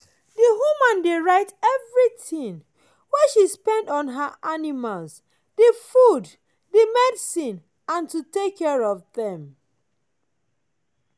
the woman dey write everything wey she spend on her animals - the food the medicine and to take care of them.